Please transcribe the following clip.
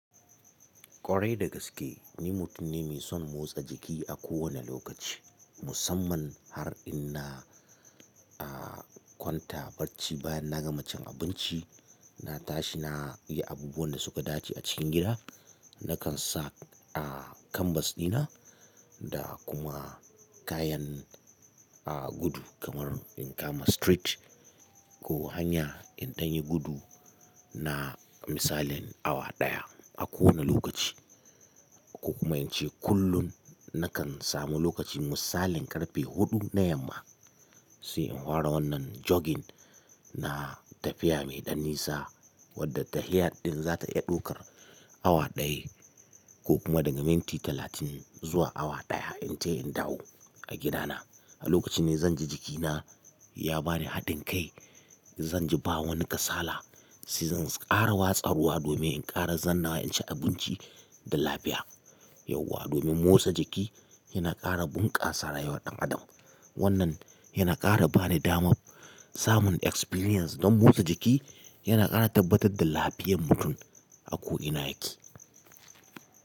Kwarai da gaske ni mutum ne mai son motsa jiki a kowane lokaci, musamman har in na, a, kwanta barci bayan na gama cin abinci. Na tashi na yi abubuwan da suka dace a cikin gida. Nakan sa, a, kanbas dina da kuma kayan, a, gudu kamar in kama street ko hanya in tanyi gudu na misalin awa ɗaya a kowane lokaci. Ko kuma in ce kullum nakan samu lokacin misalin karfe huɗu na yamma sai in hara wannan jogging na tafiya mai ɗan nisa wadda tarihin ɗin za ta iya ɗaukar awa ɗaya ko kuma daga minti talatin zuwa awa ɗaya in ce in dawo a gida na. A lokacin ne zan ji jikina ya ba ni hadin kai, zan ji ba wani kasala sai zan ƙara watsa ruwa domin in ƙara zannawa in ci abinci da lafiya. Yau wa domin motsa jiki yana ƙara bunƙasa rayuwar ɗan adam. Wannan yana ƙara bani damar samun experience don motsa jiki yana ƙara tabbatar da lafiyar mutum a ko ina yake.